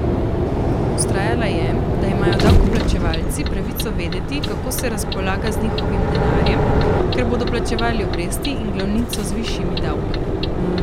Vztrajala je, da imajo davkoplačevalci pravico vedeti, kako se razpolaga z njihovim denarjem, ker bodo plačevali obresti in glavnico z višjimi davki.